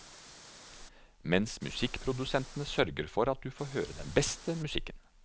Mens musikkprodusenten sørger for at du får høre den beste musikken.